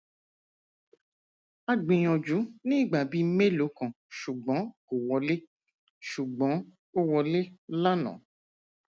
a gbìyànjú ní ìgbà bíi mélòó kan ṣùgbọn kò wọlé ṣùgbọn ó wọlé lánàá